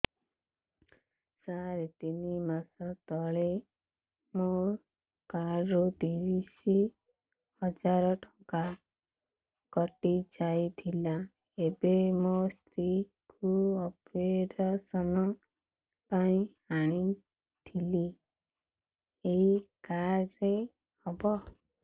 ସାର ତିନି ମାସ ତଳେ ମୋ କାର୍ଡ ରୁ ତିରିଶ ହଜାର ଟଙ୍କା କଟିଯାଇଥିଲା ଏବେ ମୋ ସ୍ତ୍ରୀ କୁ ଅପେରସନ ପାଇଁ ଆଣିଥିଲି ଏଇ କାର୍ଡ ରେ ହବ